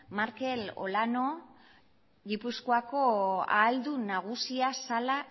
markel olano gipuzkoako ahaldun nagusia zela